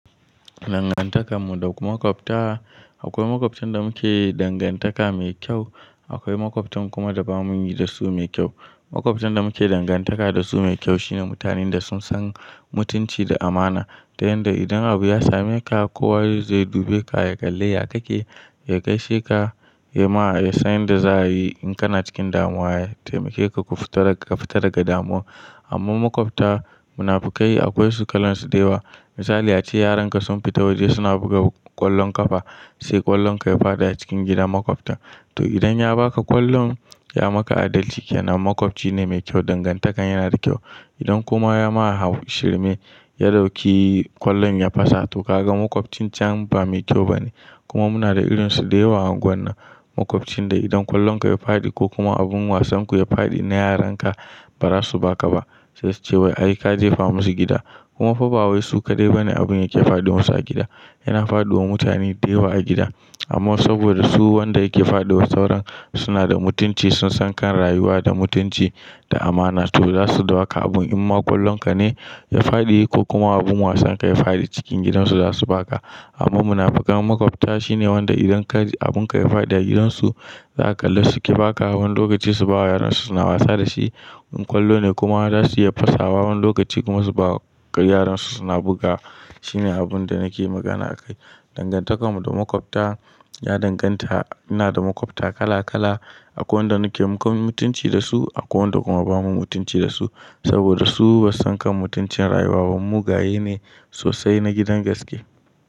Dangantakar mu da makwabta, akwai makwabtan da muke dangantaka mai kyau, akwai makwabtan kuma da ba mu yi da su mai kyau. Makwabtan da muke dangantaka da su mai kyau shine mutanen da sun san mutunci da amana. Tayanda idan abu ya same ka, kowa zai zo ya dube ka, ya kalle ya kake, ya gaishe ka, ya ma, ya san yanda za a yi in kana cikin damuwa, ya taimake ka ka fita daga damuwa. Amma makwabta munafukai akwai su kalan su da yawa. Misali ace yaran ka sun fita waje suna buga ƙwallon ƙafa, sai ƙwallon ka ya fadi a cikin gidan makwabtan. To idan ya ba ka ƙwallon, ya maka adalci kenan, makwabcji ne mai kyau, dangantakar yana da kyau. Idan kuma ya ma har shirme, ya dauki ƙwallon ya fasa to ka ga makwabtcin can ba mai kyau bane. Kuma muna da irin su da yawa a unguwar nan, makwabcin da idan ƙwallon ka ya fadi ko kuma abin wasan ku ya fadi na yaran ka, bara su ba ka ba, sai su ce wai ai ka je ka famu su gida. Kuma fa ba wai su kaɗai bane abun yake faɗi musu a gida. Yana faɗi wa mutane da yawa a gida. Amma saboda su wanda yake faduwa sauran suna da mutunci, sun san kan rayuwa da mutunci da amana to za su dauka abun. In ma ƙwallon ka ne ya fadi ko kuma abin wasan ka ya fadi cikin gidan su, za su ba ka. Amma munafukan makwabta shine wanda idan abun ka ya fadi a gidan su, za ka kalla su ƙi ba ka, wani lokaci su ba wa yaran su suna wasa da shi. In ƙwallo ne kuma za su iya fasa wa, wani lokaci kuma su ba wa yaran su suna buga. Shine abun da nake magana akai. Dangantakar mu da makwabta ya danganta, ina da makwabta kala kala. Akwai wanda nake mun mutunci da su, akwai wanda kuma ba mu mutunci da su. Saboda su ba su san kan mutuncin rayuwa ba, mugaye ne sosai na gidan gaske.